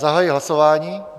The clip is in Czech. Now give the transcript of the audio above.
Zahajuji hlasování.